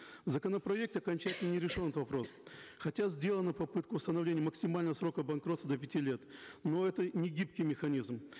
в законопроекте окончательно не решен этот вопрос хотя сделана попытка установления максимального срока банкротства до пяти лет но это не гибкий механизм